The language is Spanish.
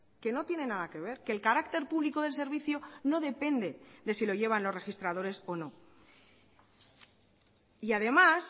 que no tiene nada que ver que el carácter público del servicio no depende de si lo llevan los registradores o no y además